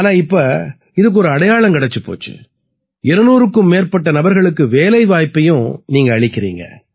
ஆனா இப்ப இதுக்கு ஒரு அடையாளம் கிடைச்சுப் போச்சு 200க்கும் மேற்பட்ட நபர்களுக்கு வேலைவாய்ப்பையும் நீங்க அளிக்கறீங்க